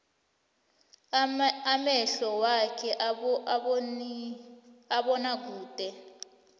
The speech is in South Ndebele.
amehlo wakhe awaboni kude